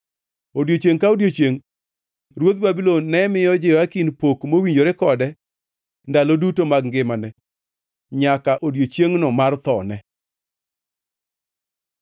Odiechiengʼ ka odiechiengʼ ruodh Babulon ne miyo Jehoyakin pok mowinjore kode ndalo duto mag ngimane, nyaka odiechiengʼno mar thone.